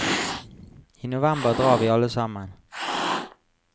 I november drar vi alle sammen.